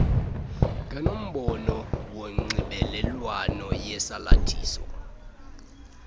ngenombolo yonxibelelwano yesalathisi